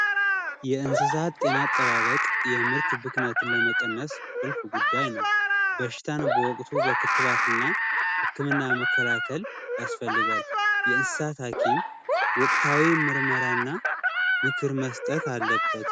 የእንስሳት ጤና አጠባበቅ የምርጥ ብክነትን ለመቀነስ ቁልፍ ጉዳይ ነው በሽታ በወቅቱ በክትባት እና ህክምና መከላከል ያስፈልጋል የእንስሳት ሀኪም ወቅታዊ ምርመራና ምክር መስጠት አለበት